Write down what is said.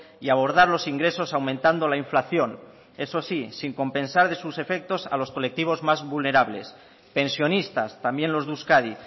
y abordar los ingresos aumentando la inflación eso sí sin compensar de sus efectos a los colectivos más vulnerables pensionistas también los de euskadi